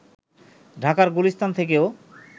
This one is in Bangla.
ঢাকার গুলিস্তান থেকেও